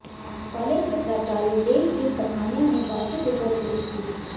college के प्राचार्य देशवीर पठानिया ने वार्षिक रिपोट पेश की